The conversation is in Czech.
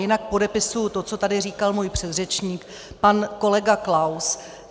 Jinak podepisuji to, co tady říkal můj předřečník pan kolega Klaus.